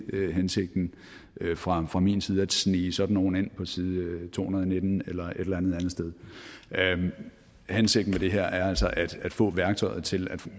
hensigten fra fra min side at snige sådan nogle ind på side to hundrede og nitten eller et eller andet andet sted hensigten med det her er altså at at få værktøjet til at